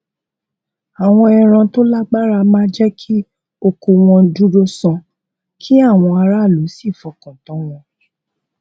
àwọn ẹran tó lágbára máa jé kí oko wọn dúró sán kí àwọn aráàlú sì fọkàn tán wọn